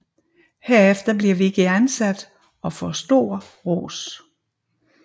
Herefter bliver Vicki ansat og får stor ros